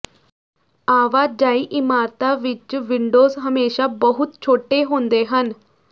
ਆਵਾਜਾਈ ਇਮਾਰਤਾਂ ਵਿੱਚ ਵਿੰਡੋਜ਼ ਹਮੇਸ਼ਾ ਬਹੁਤ ਛੋਟੇ ਹੁੰਦੇ ਹਨ